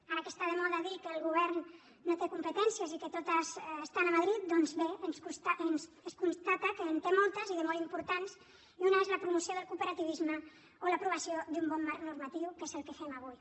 ara que està de moda dir que el govern no té competències i que totes estan a madrid doncs bé es constata que en té moltes i de molt importants i una és la promoció del cooperativisme o l’aprovació d’un bon marc normatiu que és el que fem avui